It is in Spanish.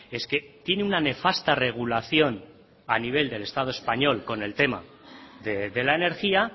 es que tiene una nefasta regulación a nivel del estado español con el tema de la energía